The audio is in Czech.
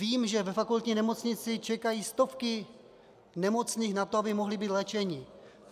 Vím, že ve fakultní nemocnici čekají stovky nemocných na to, aby mohli být léčeni.